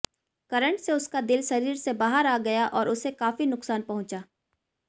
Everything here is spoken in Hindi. करंट से उसका दिल शरीर से बाहर आ गया और उसे काफी नुकसान पहुंचा